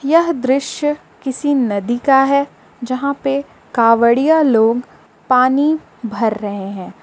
यह दृश्य किसी नदी का है जहाँ पे कावड़िया लोग पानी भर रहे हैं।